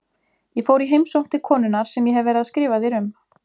Ég fór í heimsókn til konunnar sem ég hef verið að skrifa þér um.